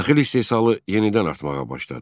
Taxıl istehsalı yenidən artmağa başladı.